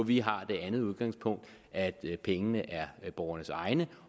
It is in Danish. vi har det andet udgangspunkt at pengene er borgernes egne